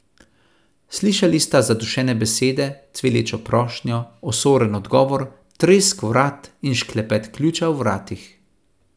Zaslišali sta zadušene besede, cvilečo prošnjo, osoren odgovor, tresk vrat in šklepet ključa v vratih.